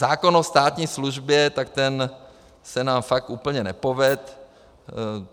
Zákon o státní službě, tak ten se nám fakt úplně nepovedl.